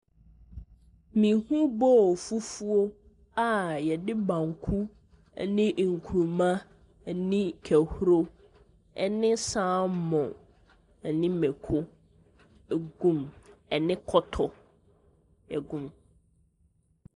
Mehu bowl fufuo a yɛde banku ɛne nkuruma ɛne kɛhuro ɛne salmon, ɛne mako agu mu, ɛne kɔtɔ agu mu.